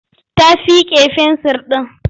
Ta fiƙe fensir ɗin.